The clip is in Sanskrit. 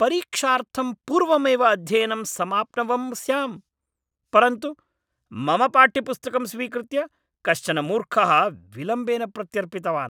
परीक्षार्थं पूर्वमेव अध्ययनं समाप्नवं स्यां, परन्तु मम पाठ्यपुस्तकं स्वीकृत्य कश्चन मूर्खः विलम्बेन प्रत्यर्पितवान्।